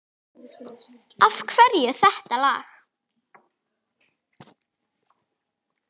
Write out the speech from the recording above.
Af hverju þetta lag?